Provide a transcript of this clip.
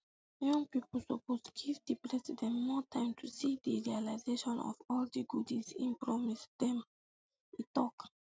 young pipo suppose give di president more time to see to di realisation of all di goodies im promise dem e tok